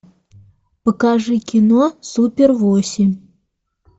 покажи кино супер восемь